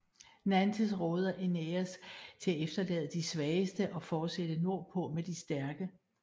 Nantes råder Æneas til at efterlade de svageste og fortsætte nordpå med de stærke